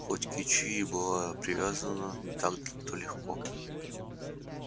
хоть кичи и была привязана не так то легко